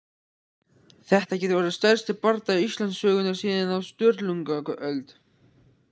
Þetta getur orðið stærsti bardagi Íslandssögunnar síðan á Sturlungaöld!